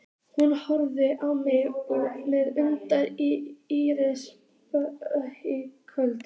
Hún horfir á mig með undrun í ísköld